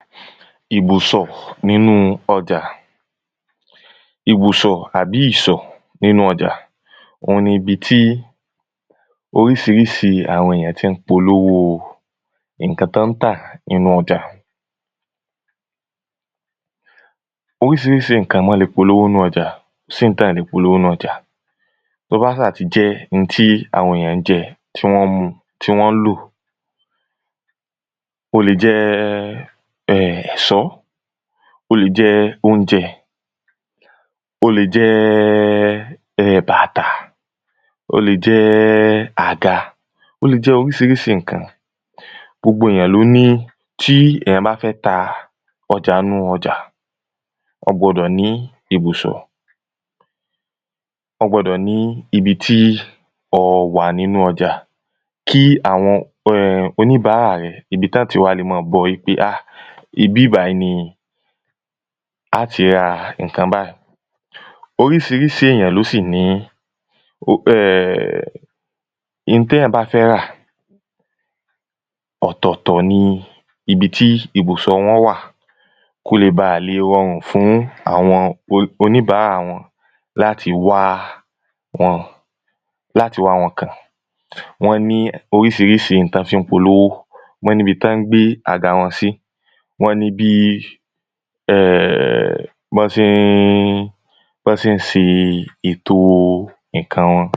ibùsọ̀ nínú ọjà ibùsọ̀ àbi ìsọ̀ nínú ọjà ohun ni ibi tí orísirísi àwọn èyàn tí ń polówó ǹkan tán tà nínú ọjà orísirísi ǹkan wọ́n le polówó nnú ọjà, kò sí hun táa lè polówó nínú ọjà tó bá sáà tí jẹ́ ń tí àwọn èyàn ń jẹ, tí wọ́n ń mu, tí wọ́n ń lò, ó le jẹ́ ẹ̀sọ́, ó le jẹ́ oúnjẹ ó le jẹ́ bàtà ó le jẹ́ àga, ó le jẹ́ orísirísi ǹkan. gbogbo èyàn ló ni, tí èyàn bá fẹ́ ta ọjà ń nú ọjà a gbọdọ̀ ní ibùsọ̀. ọ gbọdọ̀ ní ibi tí ọ wà nínú ọjà kí àwọn oníbárà rẹ, ibi tán tí wá le máa bọ́ ọ í pè áà ibi bàyìí ní à ti ra ǹkan báì orísirísi éyàn ló sì ní ẹẹ̀ ihun téyàn bá fẹ́ rà ọ̀tọ̀ tọ̀ ní ibi tí ibùsọ̀ wa wà kóle baà le rọrùn fún àwọn olí oníbárà wọ́n láti wá wọn láti wá wọn kàn. wọ́n ní orísirísi ihun tán fi ń polówó, wọn ní bi tán gbé àga wọ́n sí wọ́n ní bí bọ́n ṣe bọ́n ń ṣe èto ǹkan wọn